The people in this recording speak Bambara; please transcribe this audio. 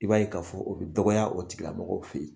I b'a ye ka fɔ, o bi dɔgɔya, o tigila mɔgɔ fe yen.